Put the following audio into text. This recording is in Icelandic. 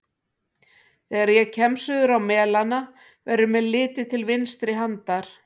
Þegar ég kem suður á Melana, verður mér litið til vinstri handar.